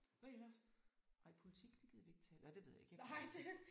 Hvad ellers? Ej politik det gider vi ikke tale om nej det ved jeg ikke jeg gider ikke